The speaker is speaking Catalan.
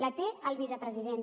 la té el vicepresident